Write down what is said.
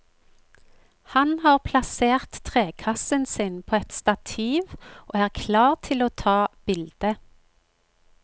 Han har plassert trekassen sin på et stativ og er klar til å ta bilde.